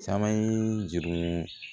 Caman ye juru